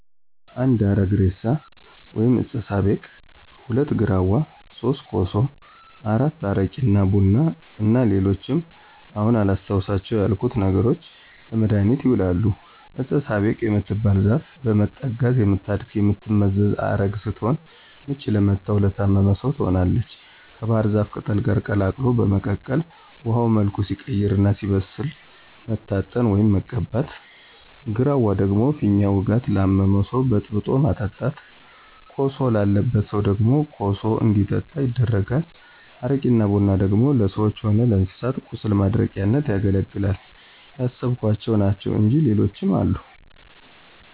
1. አረግ እሬሳ ወይም ዕጸ ሳቤቅ፣ 2. ግራዋ፣ 3. ኮሶ፣ 4. አረቂ እና ቡና እና ሌሎችም አሁን አላስታውሳቸው ያልኩት ነገሮች ለመድሀኒትነት ይውላሉ። ዕጸ ሳቤቅ የምትባለው ዛፍ በመጠጋት የምታድግና የምትመዘዝ ዐረግ ስትሆን ምች ለመታውና ለታመመ ሰው ትሆናለች ከባሕር ዛፍ ቅጠል ጋር ቀላቅሎ በመቀቀል ውሀው መልኩ ሲቀይርና ሲበስል መታጠን፣ ወይም መቀባት። ግራዋ ደግሞ ፊኛ ውጋት ላመመው ሰው በጥብጦ ማጠጣት። ኮሶ ላለበት ሰው ደግሞ ኮሱ እንዲጠጣ ይደረጋል። አረቂና ቡና ደግሞ ለሰዎችም ሆነ ለእንስሳት ቁስል ማድረቂያነት ያገለግላል። ያሰብኋቸው ናቸው እንጅ ሌሎችም አሉ።